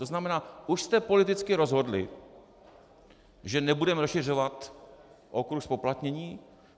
To znamená, už jste politicky rozhodli, že nebudeme rozšiřovat okruh zpoplatnění.